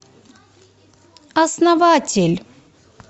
основатель